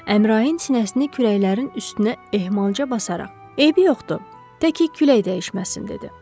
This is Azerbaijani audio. Əmrahin sinəsini kürəklərin üstünə ehmalca basaraq, eybi yoxdur, tə ki külək dəyişməsin dedi.